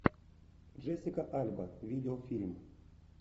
джессика альба видеофильм